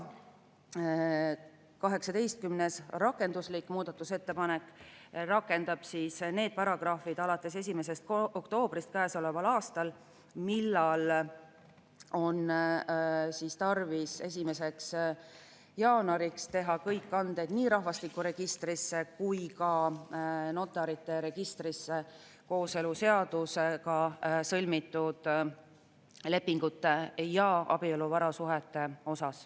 18. muudatusettepanek on rakenduslik, mille järgi need paragrahvid rakenduvad alates 1. oktoobrist käesoleval aastal, sest 1. jaanuariks on tarvis teha nii rahvastikuregistrisse kui ka notarite registrisse kõik kanded kooseluseaduse alusel sõlmitud lepingute ja abieluvarasuhete kohta.